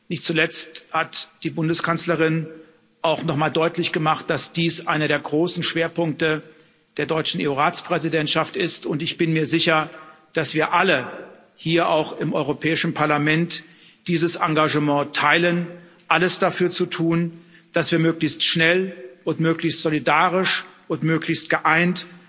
Nicht zuletzt hat die Bundeskanzlerin auch noch einmal deutlich gemacht, dass dies einer der großen Schwerpunkte der deutschen EU Ratspräsidentschaft ist, und ich bin mir sicher, dass wir alle, auch hier im Europäischen Parlament, dieses Engagement teilen, alles dafür zu tun, dass wir möglichst schnell und möglichst solidarisch und möglichst geeint